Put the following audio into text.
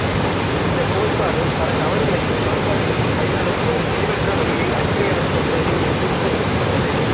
இந்த கோட்பாடு பல தவறுகளையும் சமன்பாடுகளையும் கையாளும் ஒரு தெளிவற்ற வழியை அடிப்படையாகக் கொண்டது என்று விமர்சிக்கப்பட்டது